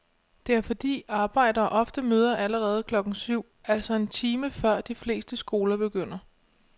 Det er fordi arbejdere ofte møder allerede klokken syv, altså en time før de fleste skoler begynder.